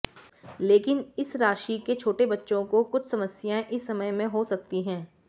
लेकिन इस राशि के छोटे बच्चों को कुछ समस्याएं इस समय में हो सकती है